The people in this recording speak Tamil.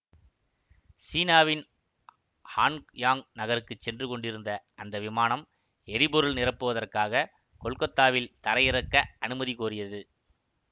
சீனாவின் ஹான்யாங் நகருக்குச் சென்று கொண்டிருந்த அந்த விமானம் எரிபொருள் நிரப்புவதற்காக கொல்கத்தாவில் தரையிறக்க அனுமதி கோரியது